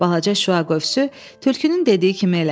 Balaca şüa qövsü tülkünün dediyi kimi elədi.